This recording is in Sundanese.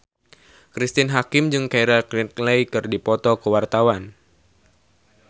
Cristine Hakim jeung Keira Knightley keur dipoto ku wartawan